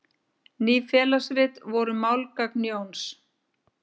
Ný félagsrit voru málgagn Jóns.